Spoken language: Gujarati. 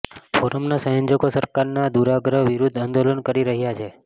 ફોરમના સંયોજકો સરકારના દૂરાગ્રહ વિરુદ્ધ આંદોલન કરી રહ્યાં છે